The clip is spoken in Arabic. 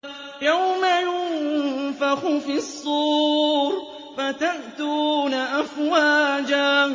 يَوْمَ يُنفَخُ فِي الصُّورِ فَتَأْتُونَ أَفْوَاجًا